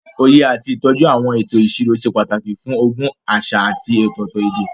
Òye àti ìtọ́jú àwọn ètò ìṣirò ṣe pàtàkì fún ogún àṣà àti ọ̀tọ̀ọ̀tọ̀ èdè.